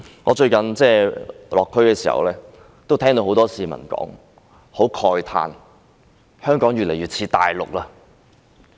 我最近落區時聽到很多市民說，慨嘆香港越來越與內地相似。